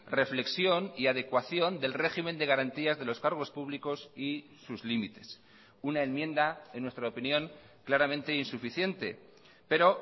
reflexión y adecuación del régimen de garantías de los cargos públicos y sus límites una enmienda en nuestra opinión claramente insuficiente pero